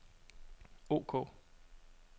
ok